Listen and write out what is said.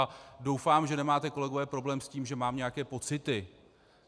A doufám, že nemáte, kolegové, problém s tím, že mám nějaké pocity.